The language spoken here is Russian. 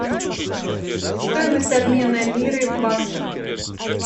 стоимость обмена лиры в баксах